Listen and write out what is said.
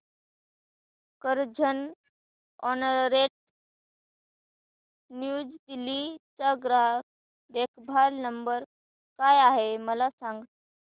Carzonrent New Delhi चा ग्राहक देखभाल नंबर काय आहे मला सांग